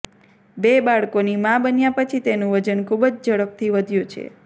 બે બાળકોની મા બન્યા પછી તેનું વજન ખૂબ જ ઝડપથી વધ્યું છે